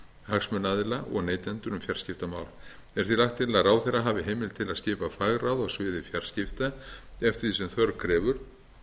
hagsmunaaðila og neytendur um fjarskiptamál er því lagt til að ráðherra hafi heimild til að skipa fagráð á sviði fjarskipta eftir því sem þörf krefur